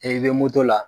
I bɛ moto la